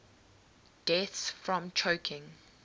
deaths from choking